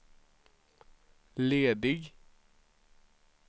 ledig